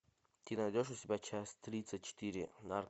ты найдешь у себя часть тридцать четыре